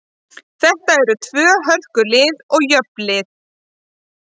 Þetta eru tvö hörku lið og jöfn lið.